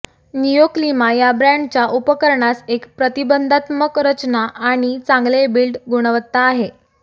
Neoclima या ब्रँडच्या उपकरणास एक प्रतिबंधात्मक रचना आणि चांगले बिल्ड गुणवत्ता आहे